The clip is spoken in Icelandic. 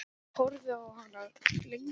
Þær horfðu á hann lengi.